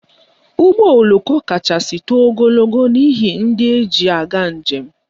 Ụgbọoloko kachasị too ogologo n'ihe ndị eji aga njem